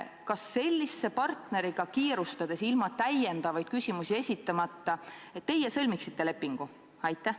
Kas teie sõlmiksite sellise partneriga kiirustades ja ilma täiendavaid küsimusi esitamata lepingu?